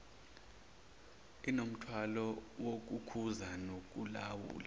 inomthwalo wokukhuza nokulawula